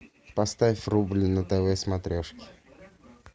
поставь рубль на тв смотрешке